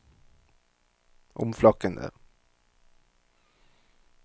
omflakkende